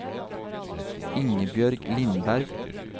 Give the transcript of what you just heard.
Ingebjørg Lindberg